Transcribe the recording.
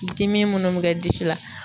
Dimi munnu be kɛ disi la